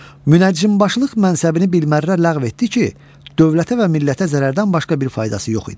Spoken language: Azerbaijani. Münəccimbaşılıq mənsəbini bilmərrə ləğv etdi ki, dövlətə və millətə zərərdən başqa bir faydası yox idi.